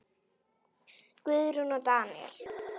Guðrún og Daníel.